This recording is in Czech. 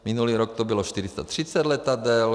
Minulý rok to bylo 430 letadel.